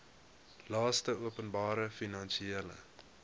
laste openbare finansiële